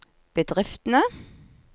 bedriftene